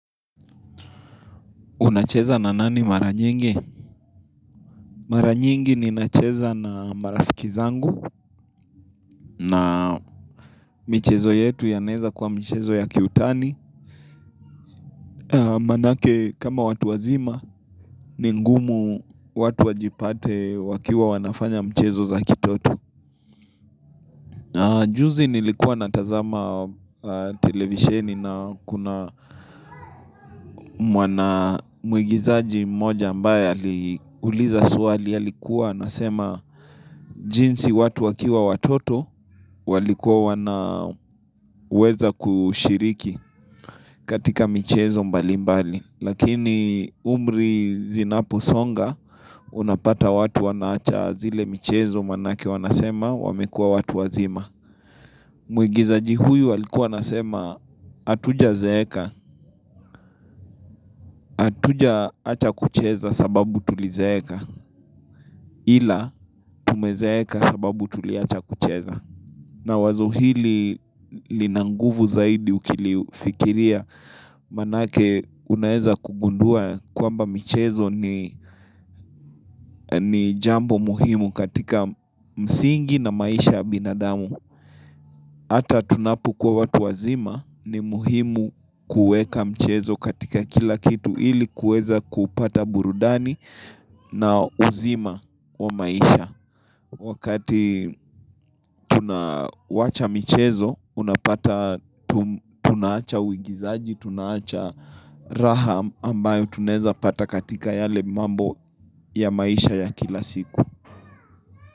Unacheza na nani mara nyingi? Mara nyingi ninacheza na marafiki zangu na michezo yetu inaweza kuwa michezo ya kiutani Maanake kama watu wazima ni ngumu watu wajipate wakiwa wanafanya michezo ya kitoto Juzi nilikuwa natazama televisheni na kuna muigizaji mmoja ambaye uliza swali alikuwa anasema jinsi watu wakiwa watoto walikuwa wanaweza kushiriki katika michezo mbali mbali. Lakini umri unaposonga unapata watu wanaacha zile michezo maanake wanasema wamekua watu wazima. Mwigizaji huyu alikua anasema hatujazeeka, hatujawacha kucheza sababu tulizeeka ila tumezeeka sababu tuliwacha kucheza. Na wazo hili lina nguvu zaidi ukilifikiria maanake unaweza kugundua kwamba michezo ni jambo muhimu katika msingi na maisha ya binadamu. Hata tunapokuwa watu wazima ni muhimu kuweka mchezo katika kila kitu ili kuweza kupata burudani na uzima wa maisha. Wakati tunawacha michezo, unapata tunawacha uigizaji, tunawacha raha ambayo tunaweza pata katika yale mambo ya maisha ya kila siku.